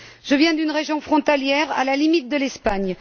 Je viens d'une région frontalière, à la limite de l'Espagne.